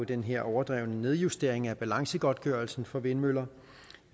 den her overdrevne nedjustering af balancegodtgørelsen for vindmøller